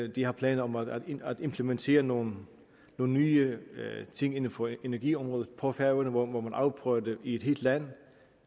de har planer om at implementere nogle nye ting inden for energiområdet på færøerne hvor man afprøver det i et helt land